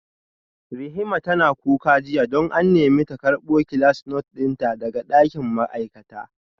Rihima tana kuka jiya don an nemi ta karbo class note dinta daga dakin ma'aikata